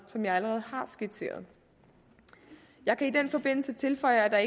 som jeg allerede har skitseret jeg kan i den forbindelse tilføje at